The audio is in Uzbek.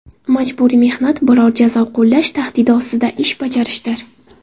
Majburiy mehnat biror jazo qo‘llash tahdidi ostida ish bajarishdir.